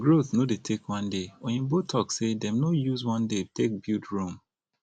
growth no dey take one day oyibo talk sey dem no use one day take build rome